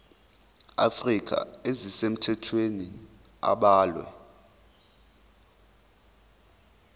afrika ezisemthethweni abalwe